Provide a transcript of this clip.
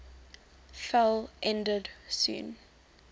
fell ended soon